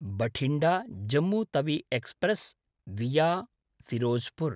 Bathinda Jammu Tawi express विया फिरोजपुर्